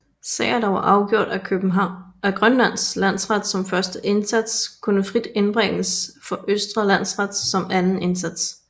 Sager der var afgjort af Grønlands Landsret som første instans kunne frit indbringes for Østre Landsret som anden instans